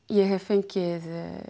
ég hef fengið